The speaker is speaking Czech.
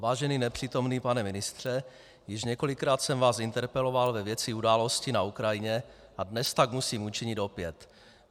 Vážený nepřítomný pane ministře, již několikrát jsem vás interpeloval ve věci události na Ukrajině a dnes tak musím učinit opět.